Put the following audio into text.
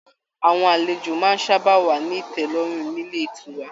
Àwọn àlejò máa sábà wa ni tẹlọrun nílé ìtura.